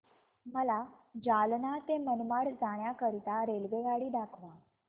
मला जालना ते मनमाड जाण्याकरीता रेल्वेगाडी दाखवा